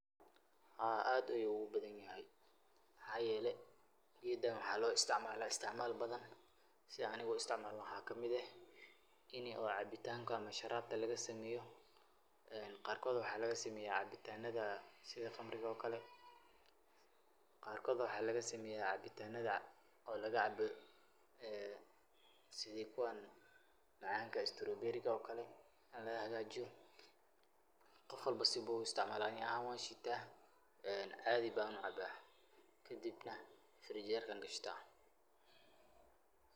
Haa ad ayu u bahanyahay mxayelay geedah waxa lo isticmalah isticmalbathan si Anika u isticmalnoh waxa kameet eeh Ina cabitanga amah sharabka laga sameyoh , ee qarkotha waxa laga sameeyoh cabitantatha sitha qamrika oo Kali qarkotha waxakaga sameeyoh cabitantatha oo laga caboh setha kuwa macanga strooberi rika oo Kali ayalagahajeeyoh Qoof walbo si Bo u isticmalah Ani ahaan washeetah ee caathi ba u cabah kadibnah fridge jeerka kashtah.